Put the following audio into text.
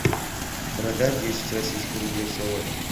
продать десять российских рублей сегодня